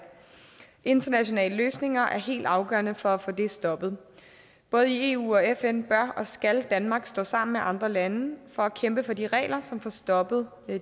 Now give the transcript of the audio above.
internationale løsninger er helt afgørende for at få det stoppet både i eu og fn bør og skal danmark stå sammen med andre lande for at kæmpe for de regler som får stoppet